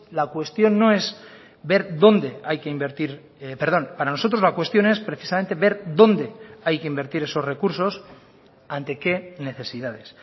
la cuestión no es ver dónde hay que invertir perdón para nosotros la cuestión es precisamente ver dónde hay que invertir esos recursos ante qué necesidades